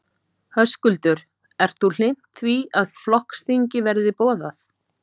Höskuldur: Ert þú hlynnt því að flokksþing verði boðað?